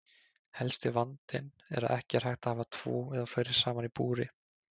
Helsti vandinn er að ekki er hægt að hafa tvo eða fleiri saman í búri.